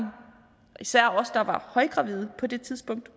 især os der var højgravide på det tidspunkt